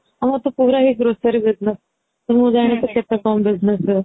ଆମର ତ ପୁରା ହି grocery business ମୁଁ ଜାଣିବାରେ କେତେ କଣ business ରେ